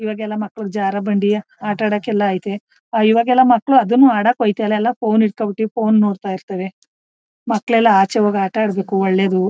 ಇವಾಗೆಲ್ಲ ಮಕ್ಕಳು ಜಾರಬಂಡಿ ಆಟ ಆಡಕ್ಕೆ ಐತೆ ಇವಾಗೆಲ್ಲ ಮಕ್ಕಳು ಆಡುನು ಆಡಕ್ಕೆ ಹೋಯಿತಲ್ಲ ಎಲ್ಲ ಫೋನ್ ಇಟ್ಕೊಂಬಿಟ್ಟು ಫೋನ್ ನೋಡತಾ ಇರ್ತಾರೆ ಮಕ್ಕಳು ಆಚೆ ಹೋಗಿ ಆಟ ಆಡ್ಬೇಕು ಒಳ್ಳೇದು